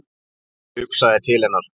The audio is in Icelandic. Ég hugsaði til hennar.